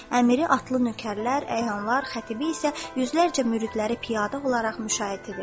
Əmiri atlı nökərlər, əyanlar, xətibi isə yüzlərcə müridləri piyada olaraq müşayiət edirdi.